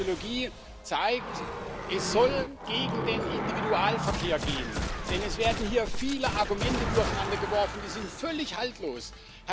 Und diese Ideologie zeigt, es soll gegen den Individualverkehr gehen, denn es werden hier viele Argumente durcheinandergeworfen, die völlig haltlos sind.